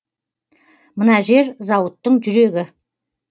мына жер зауыттың жүрегі